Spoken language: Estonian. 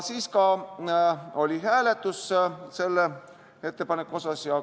Siis oli selle ettepaneku hääletus.